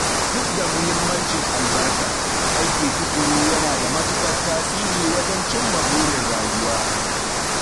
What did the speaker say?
Duk da muhimmancin albarka, aiki tukuru yana da matukar tasiri wajen cimma burin rayuwa.